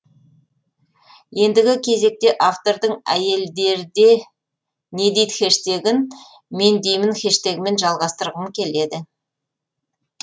ендігі кезекте автордың әйелдерде не дид хэштегін мендеймін хэштегімен жалғасытырғым келеді